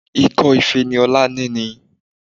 Ikọ́ ife ni Ọlá ní